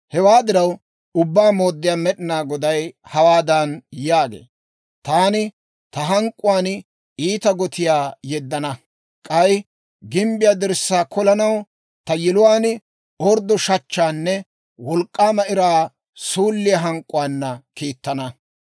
Hewaa diraw, Ubbaa Mooddiyaa Med'inaa Goday hawaadan yaagee; «Taani ta hank'k'uwaan iita gotiyaa yeddana; k'ay gimbbiyaa dirssaa kolanaw ta yiluwaan orddo shachchaanne wolk'k'aama iraa suulliyaa hank'k'uwaana kiittana.